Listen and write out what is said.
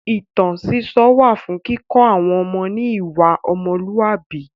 Ìtàn sísọ wà fún kíkọ́ àwọn ọmọ ní ìwà ọmọlúàbí.